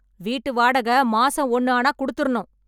வீட்டு வாடகை மாசம் ஒன்னு ஆனா குடுத்திறனும்